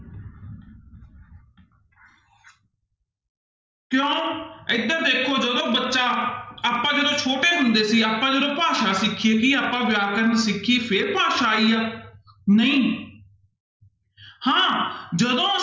ਕਿਉਂ ਇੱਧਰ ਦੇਖੋ ਜਦੋਂ ਬੱਚਾ, ਆਪਾਂ ਜਦੋਂ ਛੋਟੇ ਹੁੰਦੇ ਸੀ ਆਪਾਂ ਜਦੋਂ ਭਾਸ਼ਾ ਸਿੱਖੀ ਸੀ ਆਪਾਂ ਵਿਆਕਰਨ ਨੂੰ ਸਿੱਖੀ ਫਿਰ ਭਾਸ਼ਾ ਆਈ ਆ ਨਹੀਂ ਹਾਂ ਜਦੋਂ